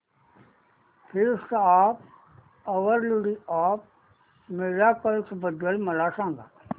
feast of our lady of miracles बद्दल मला सांगा